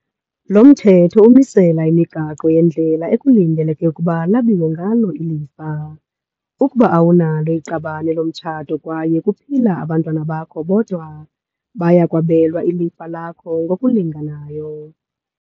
Lo Mthetho umisela imigaqo yendlela ekulindeleke ukuba lwabiwe ngalo ilifa. Ukuba awunalo iqabane lomtshato kwaye kuphila abantwana bakho bodwa, baya kwabelwa ilifa lakho ngokulinganayo.